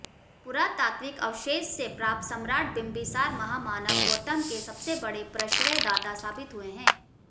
पुरातात्विक अवशेष से प्राप्त सम्राट बिम्बिसार महामानव गौतम के सबसे बड़े प्रश्रयदाता साबित हुए है